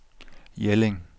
Jelling